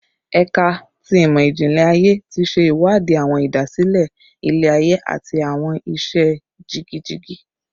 Ẹka ti Imọ-jinlẹ Aye ti ṣe iwadi awọn idasile ilẹ-aye ati awọn iṣẹ jigijigi